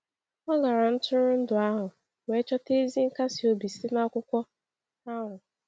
O gara ntụrụndụ ahụ wee chọta ezi nkasi obi site n’akwụkwọ ahụ.